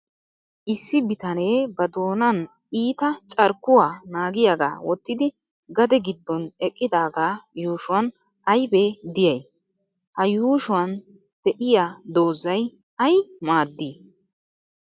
Issi bitanee ba doonan iita carkkuwa naagiyaagaa wottidi gade giddon eqqidaagaa yuushuwan aybee diyay? Ha yuushuwan de'iya doozzay ay maaddii?